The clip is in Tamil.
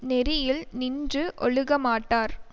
நெறியில் நின்று ஒழுக மாட்டார்